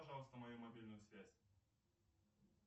пожалуйста мою мобильную связь